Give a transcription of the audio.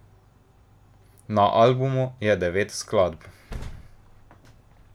Na albumu je devet skladb.